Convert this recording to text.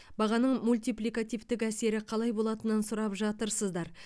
бағаның мультипликативтік әсері қалай болатынын сұрап жатырсыздар